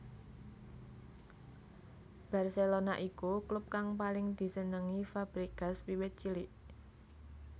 Barcelona iku klub kang paling disenengi Fabregas wiwit cilik